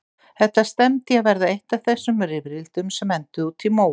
Þetta stefndi í að verða eitt af þessum rifrildum sem enduðu úti í móa.